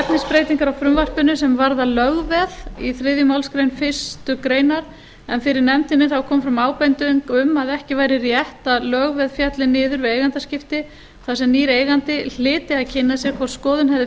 efnisbreytingar á frumvarpinu sem varða lögveð í þriðju málsgrein fyrstu grein en fyrir nefndinni kom fram ábending um að ekki væri rétt að lögveð félli niður við eigendaskipti þar sem nýr eigandi hlyti að kynna sér hvort skoðun hefði